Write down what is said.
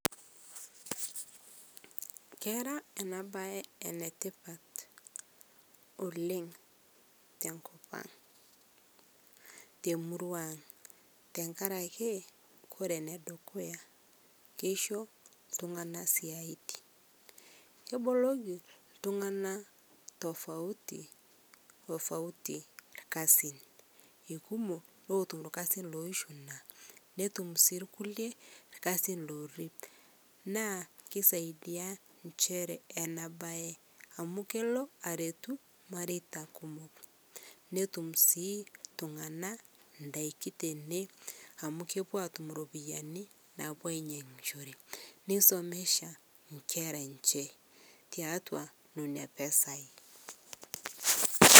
Kera enabae enetipat tenkop ang, temurua ang. tengaraki ore enedukuya keisho intunganak isiaitin. keboloki intunganak/tofauti, tofauti/irkasin. etum irkulie irkasin ooifuna, netumi irkulie irkasin orip naa kisaidia ninche enabae amu elo aretuu irmairetae kumok, netum sii intunganak indaki tine amu kepuo atum iropiyiani nainyangishore nisomesha sii inkera enche tiatuanena pisai